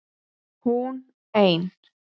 HÚN EIN